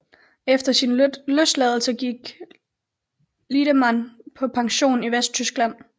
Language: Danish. Efter sin løsladelse gik Lindemann på pension i Vesttyskland